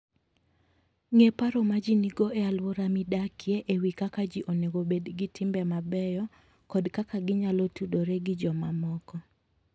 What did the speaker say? Ng'e paro ma ji nigo e alwora midakie e wi kaka ji onego obed gi timbe mabeyo kod kaka ginyalo tudore gi jomamoko.